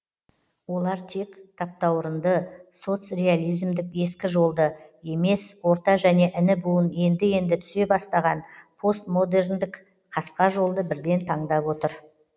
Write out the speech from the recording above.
олар тек таптауырынды соцреализмдік ескі жолды емес орта және іні буын енді енді түсе бастаған постмодерндік қасқа жолды бірден таңдап отыр